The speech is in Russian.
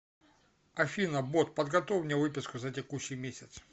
афина бот подготовь мне выписку за текущий месяц